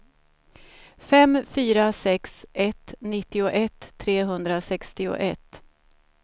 fem fyra sex ett nittioett trehundrasextioett